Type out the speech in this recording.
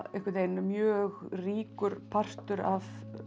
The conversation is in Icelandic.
einhvern veginn mjög ríkur partur af